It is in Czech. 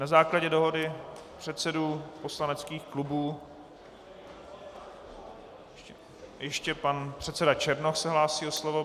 Na základě dohody předsedů poslaneckých klubů - ještě pan předseda Černoch se hlásí o slovo.